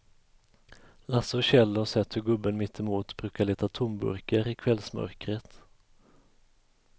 Lasse och Kjell har sett hur gubben mittemot brukar leta tomburkar i kvällsmörkret.